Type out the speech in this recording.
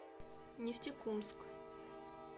нефтекумск